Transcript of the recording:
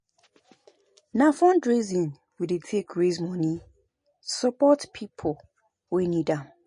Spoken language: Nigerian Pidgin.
Na fundraising we dey take raise moni support pipo wey need am.